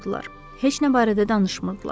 Heç nə barədə danışmırdılar.